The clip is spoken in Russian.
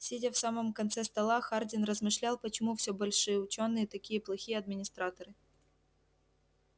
сидя в самом конце стола хардин размышлял почему всё большие учёные такие плохие администраторы